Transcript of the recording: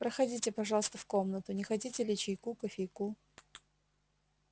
проходите пожалуйста в комнату не хотите ли чайку кофейку